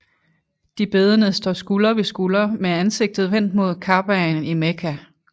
De bedende står skulder ved skulder med ansigtet vendt mod Kabaen i Mekka